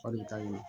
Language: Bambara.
O de ka ɲi